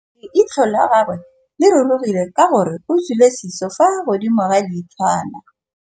Leitlhô la gagwe le rurugile ka gore o tswile sisô fa godimo ga leitlhwana.